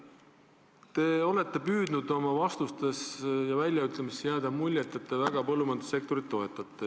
Te olete püüdnud oma vastustes ja väljaütlemistes jätta muljet, et te põllumajandussektorit väga toetate.